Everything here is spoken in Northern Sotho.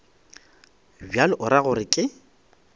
bjalo o ra gore ke